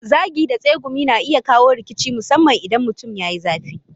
Zagi da tsegumi kuma na iya kawo rikici musamman idan mutum ya yi zafi.